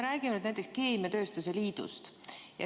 Räägime näiteks keemiatööstuse liidust.